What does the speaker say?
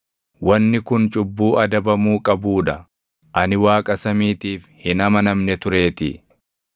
wanni kun cubbuu adabamuu qabuu dha; ani Waaqa samiitiif hin amanamne tureetii.